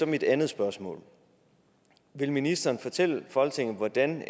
mit andet spørgsmål vil ministeren fortælle folketinget hvordan